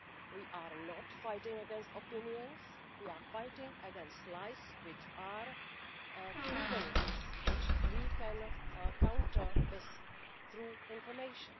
we are not fighting against opinions, we are fighting against lies which are proven lies which we can counter through information.